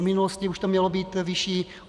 V minulosti už to mělo být vyšší.